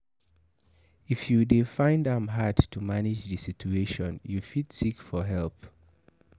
if you dey find am hard to manage di situation you fit seek for help